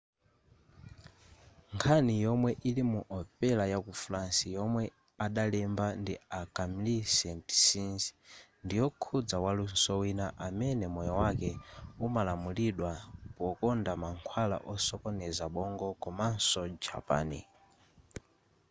nkhani yomwe ili mu opera yaku france yomwe adalemba ndi a camille saint-saens ndiyokhuza waluso wina amene moyo wake umalamulidwa pokonda mankhwala osokoneza bongo komaso japan